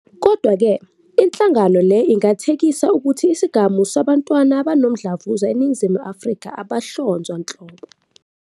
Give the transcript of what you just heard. Kodwa-ke, inhlangano le ingathekisa ukuthi isigamu sabantwana abanomdlavuza eNingizimu Afrika abahlonzwa nhlobo.